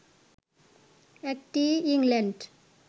একটি ইংল্যান্ড